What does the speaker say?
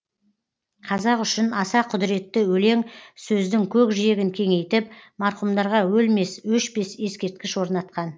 қазақ үшін аса құдіретті өлең сөздің көкжиегін кеңейтіп марқұмдарға өлмес өшпес ескерткіш орнатқан